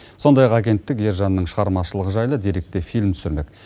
сондай ақ агенттік ержанның шығармашылығы жайлы деректі фильм түсірмек